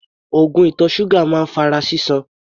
Oògùn ìtọ̀ ṣúgà máa ń fa ara sísan.